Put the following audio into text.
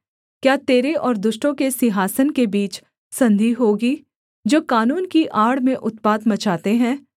क्या तेरे और दुष्टों के सिंहासन के बीच संधि होगी जो कानून की आड़ में उत्पात मचाते हैं